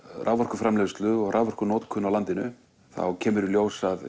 raforkuframleiðslu og raforkunotkun á landinu þá kemur í ljós að